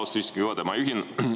Austatud istungi juhataja!